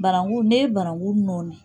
Barangu n'e ye barangu nɔɔni